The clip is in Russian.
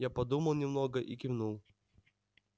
я подумал немного и кивнул